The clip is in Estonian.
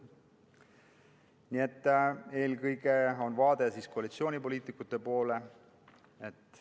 Nii et eelkõige on nüüd vaade koalitsioonipoliitikute poole.